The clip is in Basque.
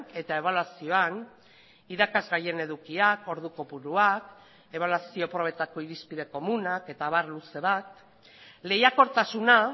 eta ebaluazioan irakasgaien edukiak ordu kopuruak ebaluazio probetako irizpide komunak eta abar luze bat lehiakortasuna